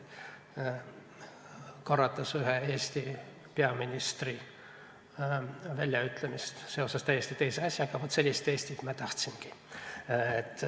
Kordan ühe Eesti peaministri väljaütlemist, seoses küll täiesti teise asjaga: vaat sellist Eestit me tahtsimegi.